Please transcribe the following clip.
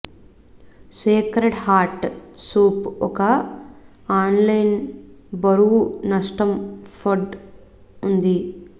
sacred heart soup ఒక online బరువు నష్టం ఫడ్ ఉంది